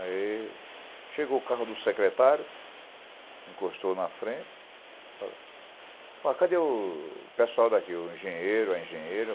Aí, chegou o carro do secretário, encostou na frente, falou, ó, cadê o pessoal daqui, o engenheiro, a engenheira?